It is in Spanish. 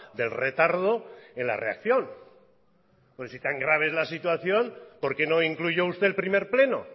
del retardo en la reacción porque si tan grave es la situación por qué no incluyó usted el primer pleno